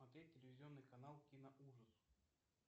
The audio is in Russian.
смотреть телевизионный канал киноужас